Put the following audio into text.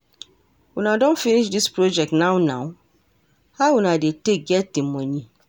Una don finish this project now now? How una dey take get di money?